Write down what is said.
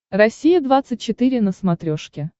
россия двадцать четыре на смотрешке